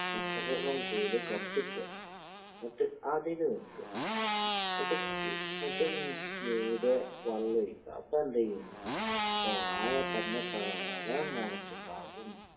കൂടി കത്തിക്കാ, എന്നിട്ട് അതിൽ വെക്കാ. എന്നിട്ട് ഏഹ് എന്നിട്ട് മ് മീതെ വെള്ളൊഴിക്കാ. അപ്പെന്തെയ്യും? അപ്പ വാഴ തന്നത്താനെ മൊളച്ചിണ്ടാകും.